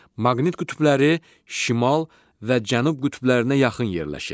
Maqnit qütbləri şimal və cənub qütblərinə yaxın yerləşir.